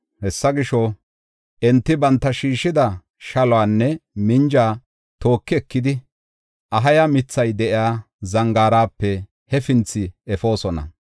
Hessa gisho, enti banta shiishida shaluwanne minja tooki ekidi, Ahaya mithay de7iya zangaarape hefinthi efoosona.